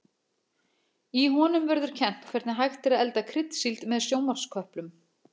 Í honum verður kennt hvernig hægt er að elda kryddsíld með sjónvarpsköplum.